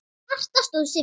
Marta stóð sig vel.